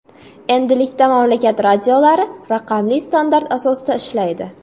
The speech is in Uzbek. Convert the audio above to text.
Endilikda mamlakat radiolari raqamli standart asosida ishlaydi.